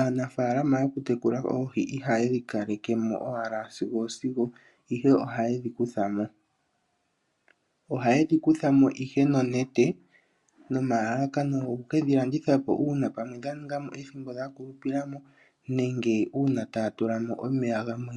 Aanafaalama yokutekula oohi ihaye dhi kaleke mo owala sigo osigo, ihe ohaye dhi kutha mo. Ohaye dhi kutha mo nonete nomalalakano goke ke dhi landitha po uuna pamwe dha ninga mo ethimbo dha kulupila mo nenge uuna taya tula mo omeya gamwe